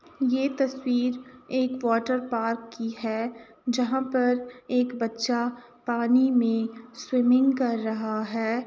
ये तस्वीर एक वाटरपार्क की है जहां पर एक बच्चा पानी में स्विमिंग कर रहा है ।